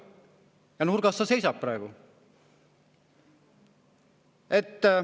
Ja nurgas sa seisad praegu.